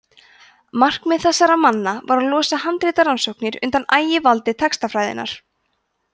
markmið þessara manna var að losa handritarannsóknir undan ægivaldi textafræðinnar